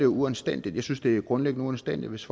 uanstændigt jeg synes det er grundlæggende uanstændigt hvis